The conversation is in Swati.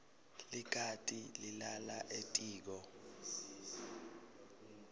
likati lilala etiko